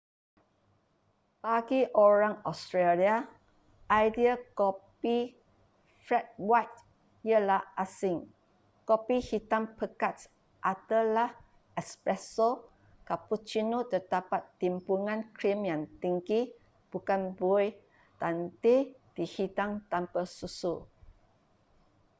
bagi orang australia idea kopi ”flat white” ialah asing. kopi hitam pekat adalah espresso” cappuccino terdapat timbunan krim yang tinggi bukan buih dan teh dihidang tanpa susu